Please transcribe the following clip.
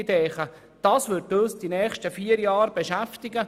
Die Digitalisierung wird uns in den nächsten vier Jahren beschäftigen.